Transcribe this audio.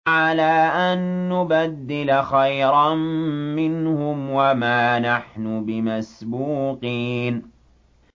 عَلَىٰ أَن نُّبَدِّلَ خَيْرًا مِّنْهُمْ وَمَا نَحْنُ بِمَسْبُوقِينَ